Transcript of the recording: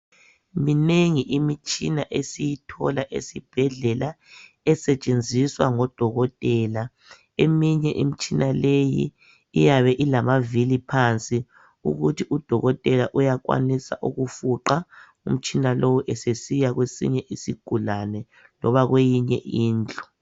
Minengi imitshina esiyithola esibhedlela esetshenziswa ngodokotela. Eminye imtshina leyi, iyabe ilamavili phansi ukuthi udokotela uyakwanisa ukufuqa umtshina lowu esesiya kwesinye isigulane loba kweyinye indlu.